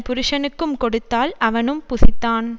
புருஷனுக்கும் கொடுத்தாள் அவனும் புசித்தான்